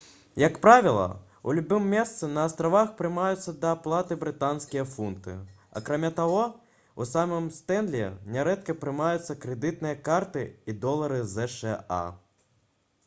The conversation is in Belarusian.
як правіла у любым месцы на астравах прымаюцца да аплаты брытанскія фунты акрамя таго у самім стэнлі нярэдка прымаюцца крэдытныя карты і долары зша